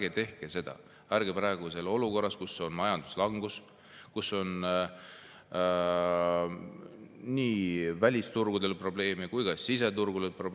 Ärge tehke seda praeguses olukorras, kus on majanduslangus ja probleeme nii välis- kui ka siseturgudel!